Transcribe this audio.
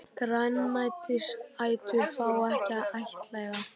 Grænmetisætur fá ekki að ættleiða